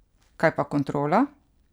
Kaj pa kontrola?